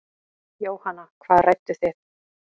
Jóhanna: Hvað rædduð þið?